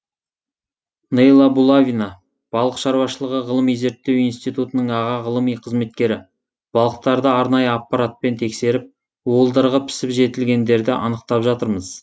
нейла булавина балық шаруашылығы ғылыми зерттеу институтының аға ғылыми қызметкері балықтарды арнайы аппаратпен тексеріп уылдырығы пісіп жетілгендерді анықтап жатырмыз